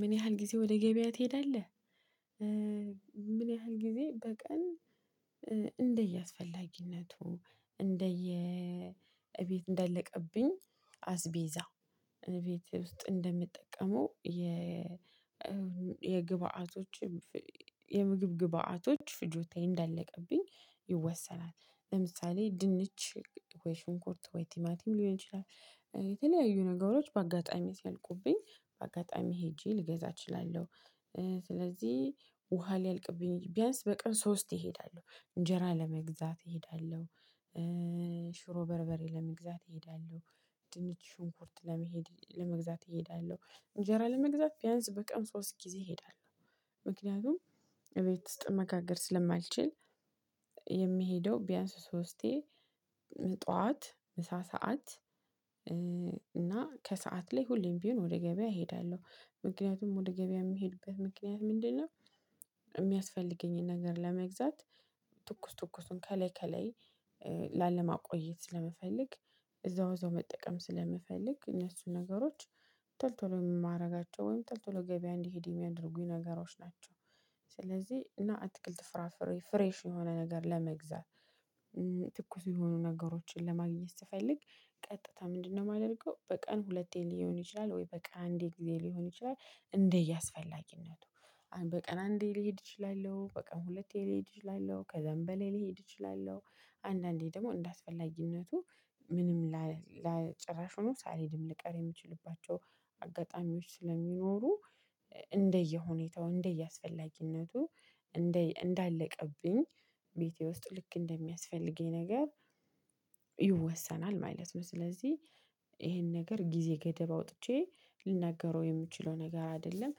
ምን ያህል ጊዜ ወደ ገበያ ትሄዳለህ? ምን ያህል ጊዜ በቀን እንደየአስፈላጊነቱ እንደየእቤት እንዳለቀብኝ አስቤዛ ቤት ውስጥ እንደምጠቀመው የ የግብአቶች የምግብ ግብአቶች ፍጆታዬ እንዳለቀብኝ ይወሰናል። ለምሳሌ ድንች ወይ ሽንኩርት ወይ ቲማቲም ሊሆን ይችላል። የተለያዩ ነገሮች በአጋጣሚ ሲያልቁብኝ በአጋጣሚ ሄጄ ልገዛ እችላለሁ። ስለዚህ ውሃ ሊያልቅብኝ ቢያንስ በቀን ሶስቴ እሄዳለሁ እንጀራ ለመግዛት እሄዳለሁ። ሽሮ በርበሬ ለመግዛት እሄዳለሁ። ድንች ሽንኩርት ለመሄድ ለመግዛት እሄዳለሁ። እንጀራ ለመግዛት ቢያንስ በቀን ሶስት ጊዜ እሄዳለሁ። ምክንያቱም እቤት ውስጥ መጋገር ስለማልችል የምሄደው ቢያንስ ሶስቴ ጠዋት ምሳ ሰዓት እና ከሰአት ላይ ሁሌም ቢሆን ወደ ገበያ እሄዳለሁ። ምክንያቱም ወደ ገበያ የምሄድበት ምክንያት ምንድነው? የሚያስፈልገኝን ነገር ለመግዛት። ትኩስ ትኩሱን ከላይ ከላይ ላለማቆየት ስለመፈለግ እዛው እዛው መጠቀም ስለመፈለግ እነሱን ነገሮች ቶሎቶሎ የማደርጋቸውን ተልቶሎ ገበያ እንድሄድ የሚያደርጉኝ ነገሮች ናቸው። ስለዚህ እና አትክልት ፍራፍሬ ፍሬሽ የሆነ ነገር ለመግዛት። ትኩስ የሆኑ ነገሮችን ለማግኘት ስፈልግ ቀጥታ ምንድነው የማደርገው በቀን ሁለቴ ሊሆን ይችላል ወይ በቃ አንዴ ጊዜ ሊሆን ይችላል። እንደየ አስፈላጊነቱ በቀን አንዴ ልሄድ እችላለሁ በቀን ሁለቴ ልሄድ እችላለሁ ከዛም በላይ ልሄድ እችላለሁ። አንዳንዴም ደግሞ እንዳስፈላጊነቱ ምንም ላ ጭራሽ ሳልሄድም ልቀር የምችልባቸው አጋጣሚዎች ስለሚኖሩ እንደየሁኔታው እንደየአስፈላጊነቱ እንደ እንዳለቀብኝ ቤቴ ውስጥ ልክ እንደሚያስፈልገኝ ነገር ይወሰናል ማለት ነው። ስለዚህ ይሄን ነገር ጊዜ ገደብ አውጥቼ ልናገረው የምችለው ነገር አይደለም።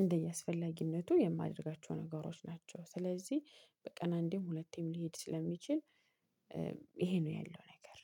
እንደየአስፈላጊነቱ የማደርጋቸው ነገሮች ናቸው ስለዚህ በቀን አንዴም ሁለቴም ልሄድ ስለምችል። ይሄ ነው ያለው ነገር